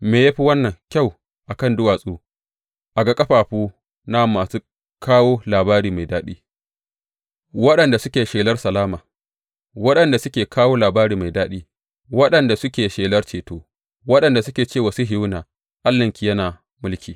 Me ya fi wannan kyau a kan duwatsu a ga ƙafafu na masu kawo labari mai daɗi waɗanda suke shelar salama, waɗanda suke kawo labari mai daɗi, waɗanda suke shelar ceto, waɗanda suke ce wa Sihiyona, Allahnki yana mulki!